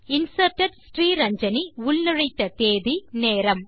inserted Sriranjani உள்நுழைத்த தேதி நேரம்